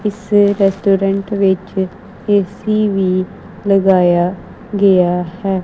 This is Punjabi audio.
ਇਸ ਰੈਸਟੋਰੈਂਟ ਵਿੱਚ ਏ_ਸੀ ਵੀ ਲਗਾਇਆ ਗਿਆ ਹੈ।